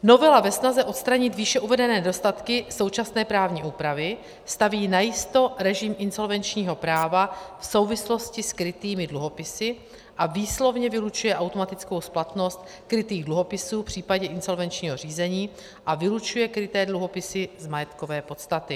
Novela ve snaze odstranit výše uvedené nedostatky současné právní úpravy staví najisto režim insolvenčního práva v souvislosti s krytými dluhopisy a výslovně vylučuje automatickou splatnost krytých dluhopisů v případě insolvenčního řízení a vylučuje kryté dluhopisy z majetkové podstaty.